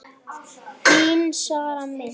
Þín Sara Mist.